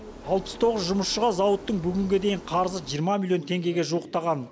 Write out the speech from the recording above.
алпыс тоғыз жұмысшыға зауыттың бүгінге дейін қарызы жиырма миллион теңгеге жуықтаған